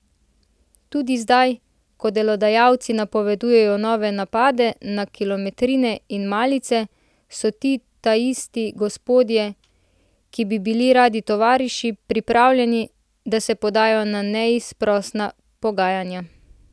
Tudi zdaj, ko delodajalci napovedujejo nove napade na kilometrine in malice, so ti taisti gospodje, ki bi bili radi tovariši, pripravljeni, da se podajo na neizprosna pogajanja.